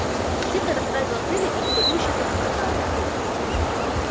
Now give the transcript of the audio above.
птица расправила крылья и негодующе заклекотала